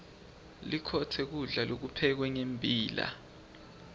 likhotse kulda lokuphekwe ngembila